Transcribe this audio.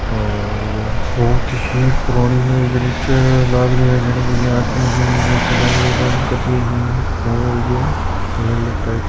और यह बहुत ही पुरानी लाग रेहो है जैने कोई आदमी है जो खुदाई का काम कर रे है और यो अलग-अलग टाइप का --